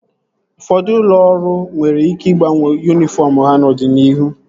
Ụfọdụ ụlọ ọrụ nwere ike ịgbanwe yunifọm ha n'ọdịnihu